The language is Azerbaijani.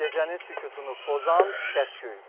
gecənin sükutunu pozan səs-küy.